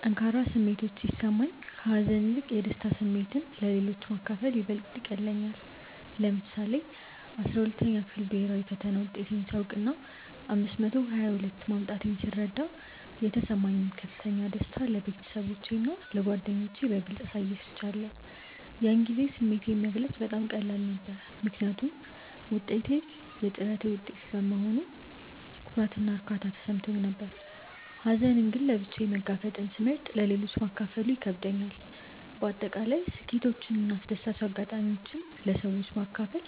ጠንካራ ስሜቶች ሲሰማኝ፣ ከሀዘን ይልቅ የደስታ ስሜትን ለሌሎች ማካፈል ይበልጥ ይቀልለኛል። ለምሳሌ፣ የ12ኛ ክፍል ብሄራዊ ፈተና ውጤቴን ሳውቅና 522 ማምጣቴን ስረዳ የተሰማኝን ከፍተኛ ደስታ ለቤተሰቦቼና ለጓደኞቼ በግልጽ አሳይቻለሁ። ያን ጊዜ ስሜቴን መግለጽ በጣም ቀላል ነበር፤ ምክንያቱም ውጤቱ የጥረቴ ውጤት በመሆኑ ኩራትና እርካታ ተሰምቶኝ ነበር። ሀዘንን ግን ለብቻዬ መጋፈጥን ስለመርጥ ለሌሎች ማካፈሉ ይከብደኛል። በአጠቃላይ ስኬቶችንና አስደሳች አጋጣሚዎችን ለሰዎች በማካፈል